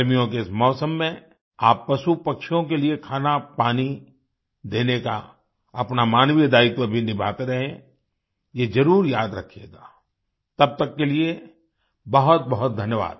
गर्मियों के इस मौसम में आप पशुपक्षियों के लिए खानापानी देने का अपना मानवीय दायित्व भी निभाते रहें ये जरुर याद रखिएगा तब तक के लिए बहुत बहुत धन्यवाद